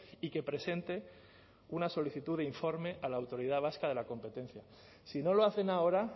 y que presente una solicitud de informe a la autoridad vasca de la competencia si no lo hacen ahora